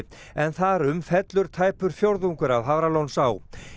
en þar um fellur tæpur fjórðungur af Hafralónsá